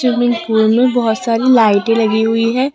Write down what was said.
swimming pool में बहोत सारी लाइटें लगी हुई है